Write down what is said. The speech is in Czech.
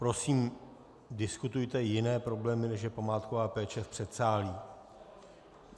Prosím, diskutujte jiné problémy, než je památková péče, v předsálí.